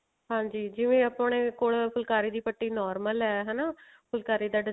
ਹਾਂਜੀ ਜਿਵੇਂ ਆਪਣੇ ਕੋਲ ਫੁਲਕਾਰੀ ਦੀ ਪੱਟੀ normal ਹੀ ਹਨਾ ਫੁਲਕਾਰੀ ਦਾ